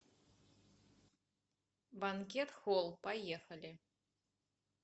банкет холл поехали